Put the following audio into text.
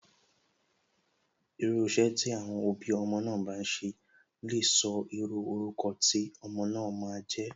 Irú iṣẹ́ tí àwọn òbí ọmọ bá n ṣe lè sọ irú orúkọ tí ọmọ náà ma a jẹ́.